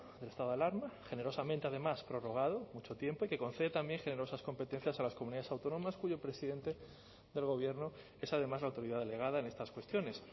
del estado de alarma generosamente además prorrogado mucho tiempo y que concede también generosas competencias a las comunidades autónomas cuyo presidente del gobierno es además la autoridad delegada en estas cuestiones